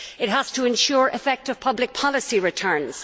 It has to ensure effective public policy returns.